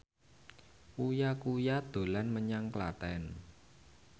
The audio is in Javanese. Uya Kuya dolan menyang Klaten